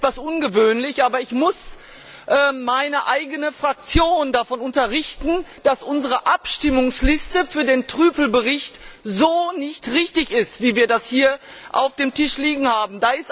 Es ist etwas ungewöhnlich, aber ich muss meine eigene Fraktion davon unterrichten, dass unsere Abstimmungsliste für den Bericht Trüpel so nicht richtig ist, wie wir das hier auf dem Tisch liegen haben.